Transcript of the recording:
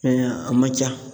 a man ca.